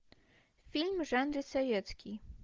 фильм в жанре советский